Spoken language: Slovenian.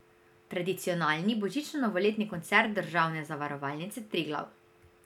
Tradicionalni božično novoletni koncert državne Zavarovalnice Triglav.